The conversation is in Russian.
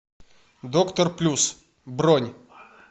доктор плюс бронь